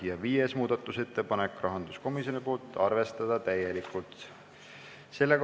Ja viies muudatusettepanek, rahanduskomisjonilt, arvestada täielikult.